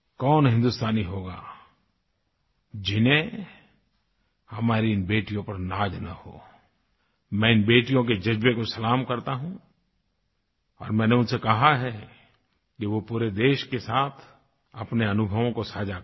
कौन हिंदुस्तानी होगा जिन्हें हमारी इन बेटियों पर नाज़ न हो मैं इन बेटियों के जज़्बे को सलाम करता हूँ और मैंने उनसे कहा है कि वो पूरे देश के साथ अपने अनुभवों को साझा करें